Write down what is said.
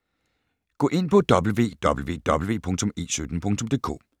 Gå ind på www.e17.dk